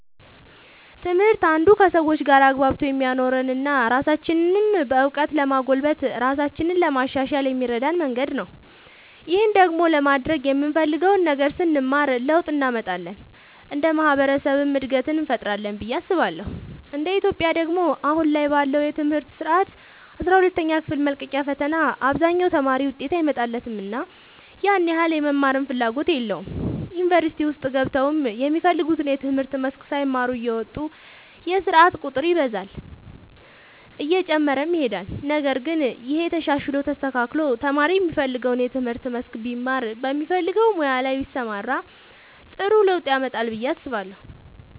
ትምህርት አንዱ ከሰዎች ጋር አግባብቶ የሚያኖረን እና ራሳችንንም በእውቀት ለማጎልበት ራሳችንን ለማሻሻል የሚረዳን መንገድ ነው። ይህን ደግሞ ለማድረግ የምንፈልገውን ነገር ስንማር ለውጥ እንመጣለን እንደ ማህበረሰብም እድገትን እንፈጥራለን ብዬ አስባለሁ እንደ ኢትዮጵያ ደግሞ አሁን ላይ ባለው የትምህርት ስርዓት አስራ ሁለተኛ ክፍል መልቀቂያ ፈተና አብዛኛው ተማሪ ውጤት አይመጣለትምና ያን ያህል የመማርም ፍላጎት የለውም ዩኒቨርሲቲ ውስጥ ገብተውም የሚፈልጉትን የትምህርት መስክ ሳይማሩ እየወጡ የስርዓት ቁጥር ይበዛል እየጨመረም ይሄዳል ነገር ግን ይሄ ተሻሽሎ ተስተካክሎ ተማሪ የሚፈልገውን የትምህርት መስክ ቢማር በሚፈልገው ሙያ ላይ ቢሰማራ ጥሩ ለውጥ ያመጣል ብዬ አስባለሁ።